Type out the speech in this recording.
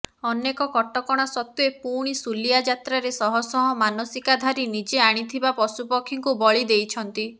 ଅନେକ କଟକଣା ସତ୍ୱେ ପୁଣି ଶୁଲିଆ ଯାତ୍ରାରେ ଶହଶହ ମାନସିକାଧାରୀ ନିଜେ ଆଣିଥିବା ପଶୁପକ୍ଷୀଙ୍କୁ ବଳି ଦେଇଛନ୍ତି